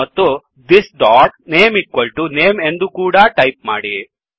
ಮತ್ತು this name name ಎಂದೂ ಕೂಡಾ ಟಾಯಿಪ್ ಮಾಡಿ